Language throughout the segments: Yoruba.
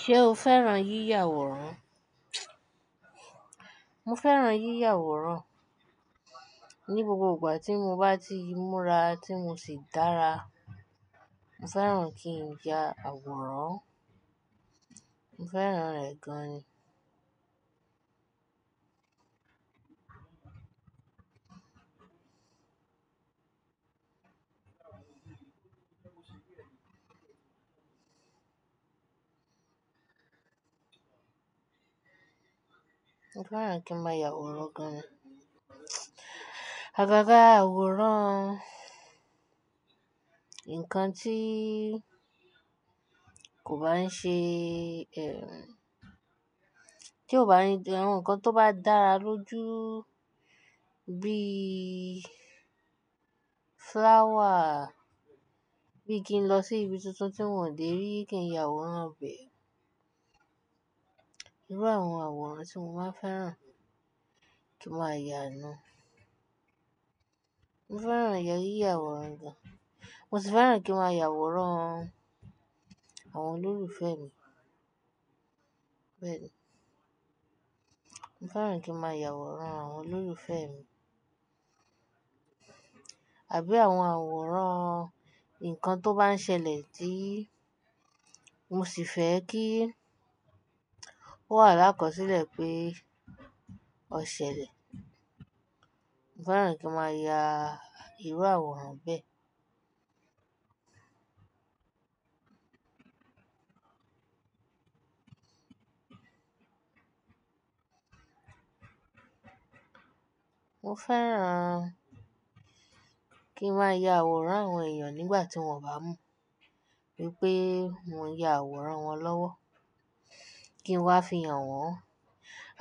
Ṣé o fẹ́ràn yíya àwòrán? Mo fẹ́ràn yíya àwòrán. Ni gbogbo ìgbà tí mo bá ti múra tí mo sì dára, mo fẹ́ràn kí n ya àwòrán. Mo fẹ́ràn rẹ̀ gan-ni. Mo fẹ́ràn kí n máa ya àwòrán gan-an. Agágá àwòrán ńkan tí kò bá ń ṣe, tí kò bá ní jẹ́ ńkan tó bá dára lójú bí flower, bí kí n lọ sí ibi tuntun tí wọ́n ò dé rí kí n ya àwòrán bẹ́ẹ̀. Irú àwọn àwòrán tí mo máa ń fẹ́ràn kí n máa ya nu Mo fẹ́ràn ya yíya àwòrán gan-an. Mo sì fẹ́ràn kí n máa ya àwòrán àwọn olólùfẹ́ mi. Bẹ́ẹ̀ni, mo fẹ́ràn kí n máa ya àwòrán àwọn olólùfẹ́ mi àbí àwọn àwòrán ńkan tó bá ń ṣẹlẹ̀ tí mo sì fẹ́ kí ó wà lákọsílẹ̀ pé ó ṣẹlẹ̀. Mo fẹ́ràn kí n máa ya irú àwòrán bẹ́ẹ̀. Mo fẹ́ràn kí n máa ya àwòrán àwọn èèyàn nígbà tí wọ́n bá mọ̀ wípé mo ya àwòrán wọn lọ́wọ́, kí n wá fi hàn wọ́n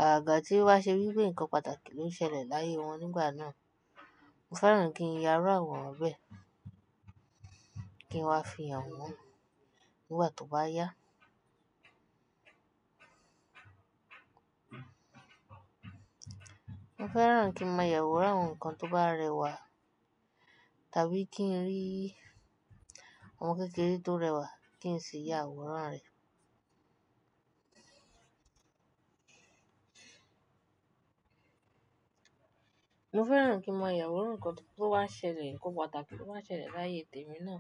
àgaga tí o ba ṣe wípé ńkan pàtàkì ló ń ṣẹlẹ̀ láyé wọn nígbà náà. Mo fẹ́ràn kí n ya irú àwòrán bẹ́ẹ̀ kí n wá fi hàn wọ́n nígbà tó bá yá. Mo fẹ́ràn kí n máa ya àwòrán ńkan tó bá rẹwà tàbí kí n rí ọmọ kékeré tó rẹwà kí n sì ya àwòrán rẹ̀. Mo fẹ́ràn kí n máa ya àwòrán ńkan tó bá ṣẹlẹ̀, ńkan pàtàkì tó bá ṣẹlẹ̀ láyé tèmi náà.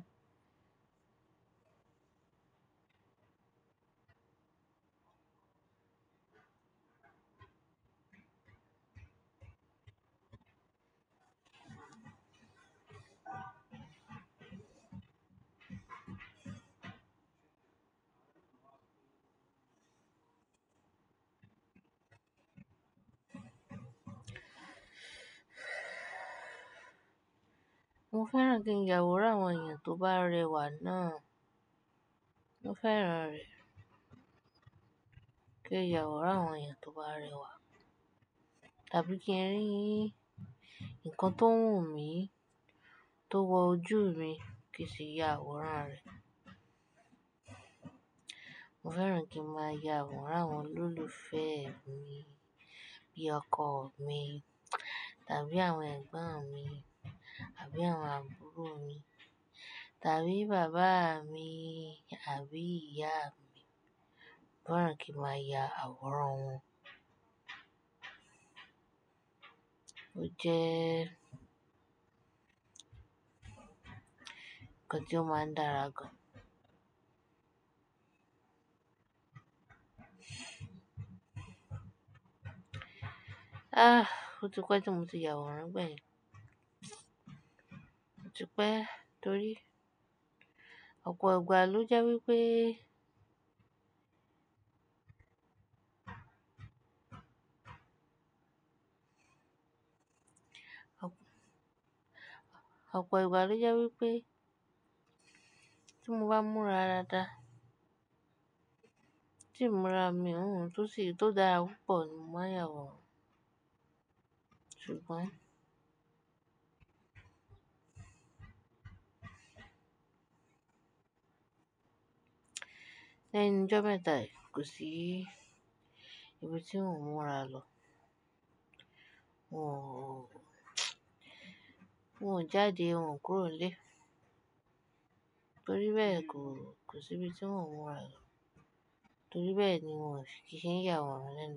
Mo fẹ́ràn kí n ya àwòrán àwọn èèyàn tó bá rẹwà ná. Mo fẹ́ràn rẹ̀, kí n ya àwòrán àwọn èèyàn tó bá rẹwà tàbí kí n rí ńkan tó wù mí, tó wọ ojú mi kí n sì ya àwòrán rẹ̀. Mo fẹ́ràn kí n máa ya àwòrán àwọn olólùfẹ́ mi bí ọkọ mi tàbí àwọn ẹ̀gbọ́n mi àbí àwọn àbúrò mi tàbí bàbá mi àbí ìyá mi. Mo fẹ́ràn kí n máa ya àwòrán wọn. Oúnjẹ, nnkan tí ó máa ń dára gan. Ah, ó ti pẹ́ tí mo ti ya àwòrán bẹ́ẹ̀ ni. Ó ti pẹ́, torí ọ̀pọ̀ ìgbà ló jẹ́ wípé, ọ̀pọ̀ ìgbà ló jẹ́ wípé tí mo bá múra dáadáa, tí mo ra mi ohun tó ṣe, tó dára pọ̀ ni mo máa ya àwòrán ṣugbọn Lẹ́nu jometa yii kó sí ibi tí n ò múra lọ. Òun jáde, òun kúrò nílé. Torí bẹ́ẹ̀ kò, kò sí ibi tí n ò múra lọ. Torí bẹ́ẹ̀ ni n ò ṣe, kì í ṣe n ya àwòrán lẹ́nu.